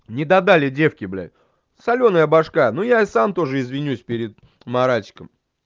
недодали девки блядь солёная башка ну и я сам тоже извинюсь перед маратиком